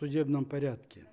судебном порядке